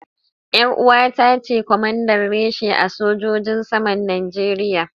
Yar uwata ce kwamanda reshe a sojojin saman Najeriya.